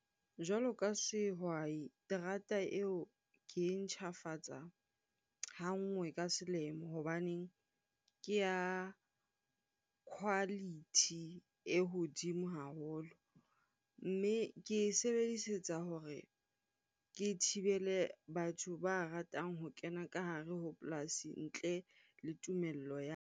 Jwalo ka sehwai, terata eo ke ntjhafatsa ha nngwe ka selemo hobaneng ke ya quality e hodimo haholo. Mme ke e sebedisetsa hore ke thibele batho ba ratang ho kena ka hare ho polasi ntle le tumello ya .